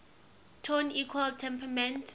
tone equal temperament